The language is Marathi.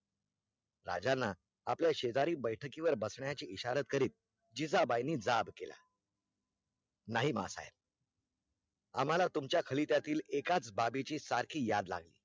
राज्यांना, आपल्या शेजरी बैठकी वर बसन्या चा इशारे करीत जिजाबाईंनी जाब केला नाही मा साहेब आम्हाला तुमच्या खलीत्यातील एकाच बाबीची सारखी याद लागली